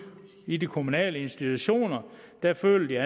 i de kommunale institutioner føler